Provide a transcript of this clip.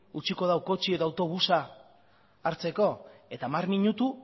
utziko dau kotxea edo autobusa hartzeko eta hamar minutu